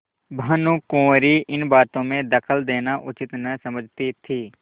भानुकुँवरि इन बातों में दखल देना उचित न समझती थी